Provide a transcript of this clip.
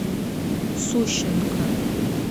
сущенко